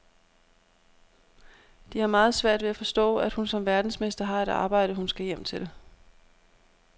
De har meget svært ved at forstå, at hun som verdensmester har et arbejde, hun skal hjem til.